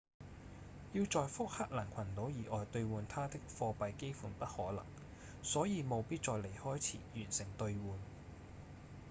要在福克蘭群島以外兌換它的貨幣幾乎不可能所以務必在離開前完成兌換